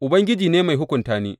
Ubangiji ne mai hukunta ni.